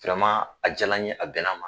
A jala n ye, a bɛna n ma.